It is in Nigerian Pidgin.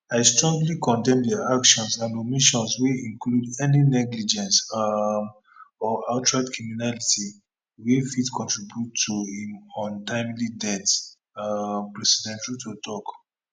i strongly condemn di actions and omissions wey include any negligence um or outright criminality wey fit contribute to im untimely death um president ruto tok